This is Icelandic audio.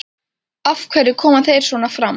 Af hverju koma þeir svona fram?